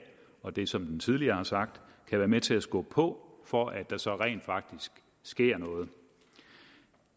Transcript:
og det som den tidligere har sagt kan være med til at skubbe på for at der så rent faktisk sker noget